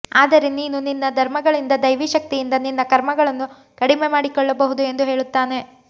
ಆದರೆ ನೀನು ನಿನ್ನ ಧರ್ಮಗಳಿಂದ ದೈವೀ ಶಕ್ತಿಯಿಂದ ನಿನ್ನ ಕರ್ಮಗಳನ್ನು ಕಡಿಮೆ ಮಾಡಿಕೊಳ್ಳಬಹುದು ಎಂದು ಹೇಳುತ್ತಾನೆ